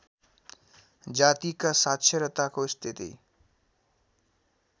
जातिका साक्षरताको स्थिति